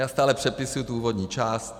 Já stále přepisuju tu úvodní část.